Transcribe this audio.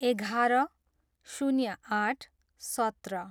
एघार, शून्य आठ, सत्र